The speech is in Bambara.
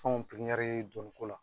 Fɛnw piriɲari don ko la